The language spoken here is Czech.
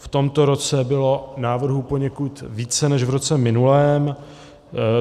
V tomto roce bylo návrhů poněkud více než v roce minulém.